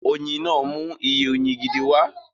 Oyin náà mú iye oyin gidi wá